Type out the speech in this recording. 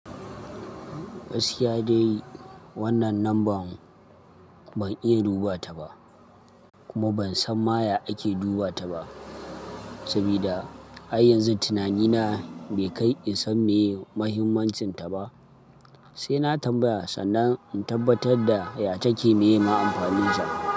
Gaskiya dai wannan number ban iya dubata ba, kuma ban san maya ake dubata ba, sabida har yanzu tunanina bai kai in san meye muhimmancinta ba. Sai na tambaya sannan in tabbatar da ya take me ma amfaninta.